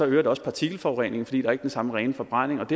det også partikelforureningen fordi der ikke er den samme rene forbrænding